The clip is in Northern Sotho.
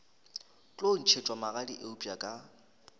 tlo ntšhetšwa magadi eupša ka